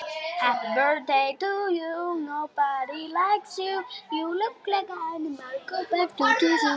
Brekka reynst honum brött.